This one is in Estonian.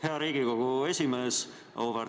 Hea Riigikogu esimees!